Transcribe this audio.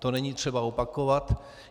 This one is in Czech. To není třeba opakovat.